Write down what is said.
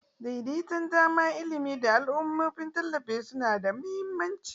Daidaitan dama, ilimi, da al'ummomin tallafi suna da mahimmanci.